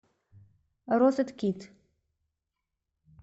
розеткед